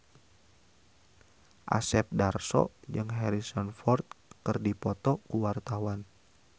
Asep Darso jeung Harrison Ford keur dipoto ku wartawan